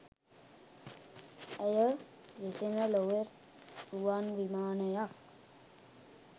ඇය වෙසෙන ලොව රුවන් විමානයක්